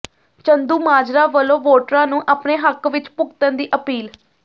ਚੰਦੂਮਾਜਰਾ ਵੱਲੋਂ ਵੋਟਰਾਂ ਨੂੰ ਆਪਣੇ ਹੱਕ ਵਿਚ ਭੁਗਤਣ ਦੀ ਅਪੀਲ